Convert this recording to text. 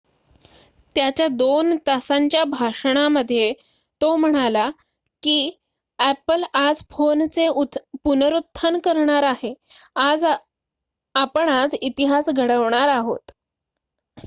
"त्याच्या दोन तासांच्या भाषणामध्ये तो म्हणाला की "अॅपल आज फोनचे पुनरुत्थान करणार आहे आपण आज इतिहास घडवणार आहोत.""